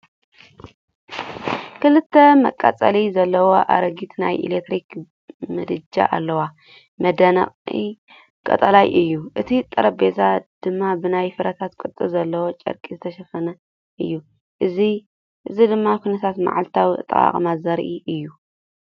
ክልተ መቃጸሊ ዘለዎ ኣረጊት ናይ ኤሌክትሪክ ምድጃ ኣለዎ፣ መናድቑ ቀጠልያ እዩ፣ እቲ ጠረጴዛ ድማ ብናይ ፍረታት ቅርጺ ዘለዎ ጨርቂ ዝተሸፈነ እዩ። እዚ ድማ ኩነታት መዓልታዊ ኣጠቓቕማ ዘርኢ እዩ።